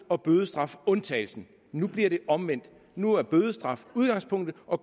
og bødestraf undtagelsen nu bliver det omvendt nu er bødestraf udgangspunktet og